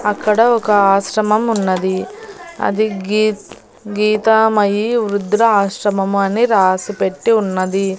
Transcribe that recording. అక్కడ ఒక ఆశ్రమం ఉన్నది. అది గీ గీతామయి వృద్ధుల ఆశ్రమం అని రాసిపెట్టి ఉన్నది.